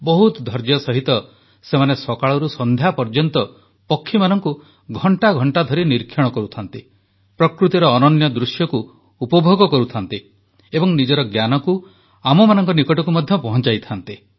ବହୁତ ଧୈର୍ଯ୍ୟ ସହିତ ସେମାନେ ସକାଳରୁ ସନ୍ଧ୍ୟା ପର୍ଯ୍ୟନ୍ତ ପକ୍ଷୀମାନଙ୍କୁ ଘଣ୍ଟା ଘଣ୍ଟା ଧରି ନିରୀକ୍ଷଣ କରୁଥାନ୍ତି ପ୍ରକୃତିର ଅନନ୍ୟ ଦୃଶ୍ୟକୁ ଉପଭୋଗ କରୁଥାନ୍ତି ଏବଂ ନିଜର ଜ୍ଞାନକୁ ଆମମାନଙ୍କ ନିକଟକୁ ମଧ୍ୟ ପହଂଚାଇଥାନ୍ତି